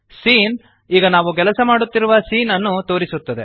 scene ಈಗ ನಾವು ಕೆಲಸ ಮಾಡುತ್ತಿರುವ ಸೀನ್ ಅನ್ನು ತೋರಿಸುತ್ತದೆ